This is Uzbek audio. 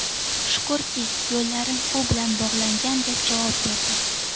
Shukrki, yo‘llarim u bilan bog‘langan”, deb javob berdi.